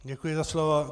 Děkuji za slovo.